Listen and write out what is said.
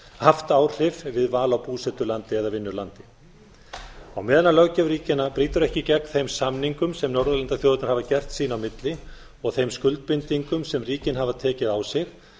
haft áhrif við val á búsetulandi eða vinnulandi á meðan l löggjöf ríkjanna brýtur ekki gegn þeim samningum sem norðurlandaþjóðirnar hafa gert sín á milli og þeim skuldbindingum sem ríkin hafa tekið á sig